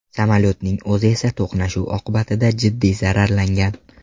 Samolyotning o‘zi esa to‘qnashuv oqibatida jiddiy zararlangan.